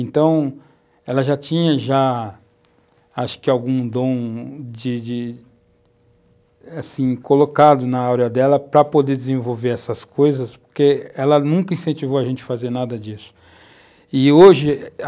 Então, ela já tinha já acho que algum dom de de assim colocado na áurea dela para poder desenvolver essas coisas, porque ela nunca incentivou a gente a fazer nada disso. E hoje,